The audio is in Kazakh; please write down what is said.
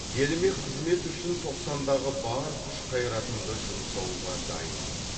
еліме қызмет үшін тоқсандағы бар күш қайратымды жұмсауға дайынмын